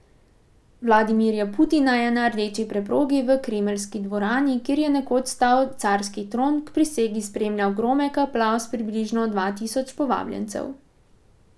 Vladimirja Putina je na rdeči preprogi v kremeljski dvorani, kjer je nekoč stal carski tron, k prisegi spremljal gromek aplavz približno dva tisoč povabljencev.